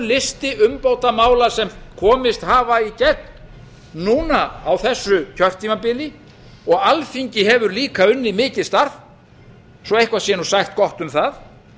listi umbótamála sem komist hafa í gegn núna á þessu kjörtímabili og alþingi hefur líka unnið mikið starf svo eitthvað sé nú sagt gott um það